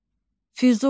Füzuli.